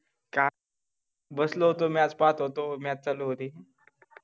का बसलो होतो match पाहत होतो match चालू होती